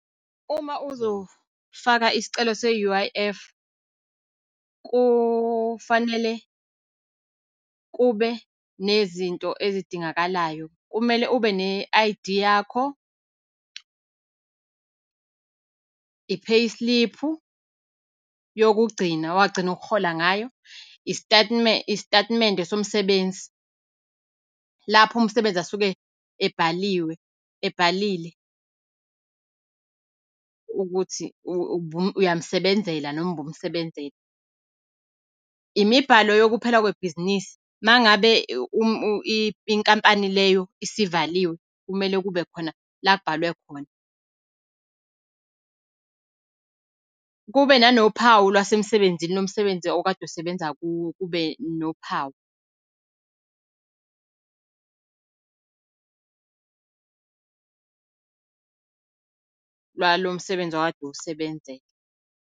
Uma uzofaka isicelo se-U_I_F, kufanele kube nezinto ezidingakalayo. Kumele ube ne-I_D yakho, i-payslip-u yokugcina wagcina ukuhola ngayo. Isitatimende somsebenzi, lapho umsebenzi asuke ebhaliwe ebhalile ukuthi uyamsebenzela noma ubumusebenzela. Imibhalo yokuphela kwebhizinisi. Uma ngabe inkampani leyo isivaliwe, kumele kube khona lakubhalwe khona kube nanophawu lwasemsebenzini lomsebenzi okade usebenza kuwo, kube nophawu lwalo msebenzi okade usebenzela.